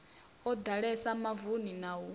o ḓalesa mavuni na u